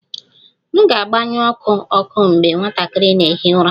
M ga-agbanyụ ọkụ ọkụ mgbe nwatakịrị na-ehi ụra